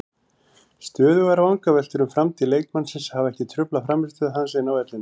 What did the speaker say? Stöðugar vangaveltur um framtíð leikmannsins hafa ekki truflað frammistöðu hans inni á vellinum.